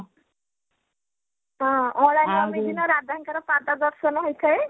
ହଁ ଅଁଳା ନବମୀ ଦିନ ରାଧା ଙ୍କର ପାଦ ଦର୍ଶନ ହେଇଥାଏ